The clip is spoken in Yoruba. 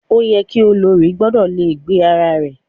Ó yẹ ki olórí gbọ́dọ̀ le gbé ara rẹ̀.